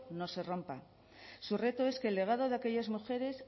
no se rompa su reto es que el legado de aquellas mujeres